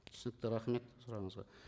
түсінікті рахмет сұрағыңызға